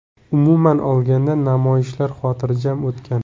Umuman olganda, namoyishlar xotirjam o‘tgan.